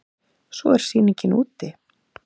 Svo er sýningin úti.